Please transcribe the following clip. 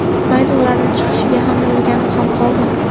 Mayli, ularni chiqishiga hamma o‘rganib ham qoldi.